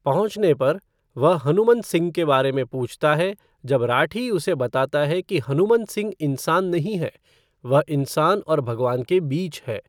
पहुंचने पर, वह हनुमंत सिंह के बारे में पूछता है जब राठी उसे बताता है कि हनुमंत सिंह इंसान नहीं है, वह इंसान और भगवान के बीच है।